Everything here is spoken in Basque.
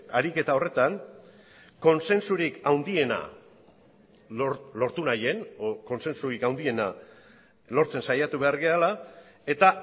ariketa horretan kontsensurik handiena lortu nahian edo kontsensurik handiena lortzen saiatu behar garela eta